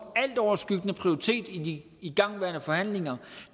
altoverskyggende prioritet i de igangværende forhandlingerne